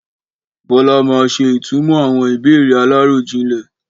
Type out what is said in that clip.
Bọlá máa ṣe ìtumọ̀ àwọn ìbéèrè aláròjinlè